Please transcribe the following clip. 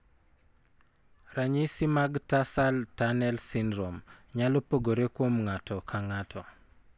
Ranyisi mag tarsal tunnel syndrome nyalo pogore kuom ng'ato ka ng'ato.